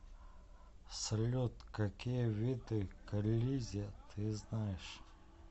салют какие виды к элизе ты знаешь